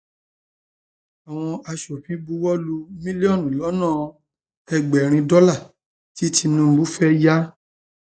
um àwọn aṣòfin buwọ lu mílíọnù lọnà ẹgbẹrin dọlà tí tinubu um fẹẹ yà